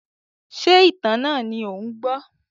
Ṣé ìtàn náà ni ò ń gbọ́?